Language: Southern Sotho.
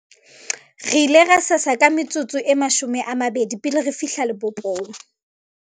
re ile ra sesa ka metsotso e 20 pele re fihla lebopong